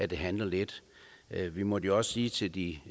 det halter lidt vi måtte jo også sige til de